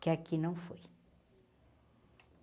que aqui não foi.